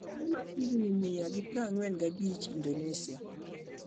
jaduong ma higni mia gi prang'wen gi abich indonesia.